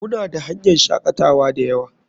Muna da hanyan shakatawa dayawa.